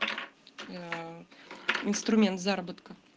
инструмент заработка